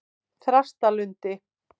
Þrastarlundi